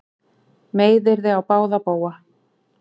Meiðyrði á báða bóga